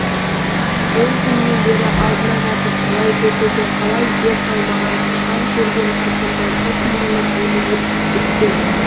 он күннен бері алдында жатып талай көрсе де қалай зер салмаған тышқан көрген құзғындай құс мұрыны имиіп үстел